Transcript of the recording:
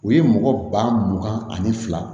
O ye mɔgɔ ba mugan ani fila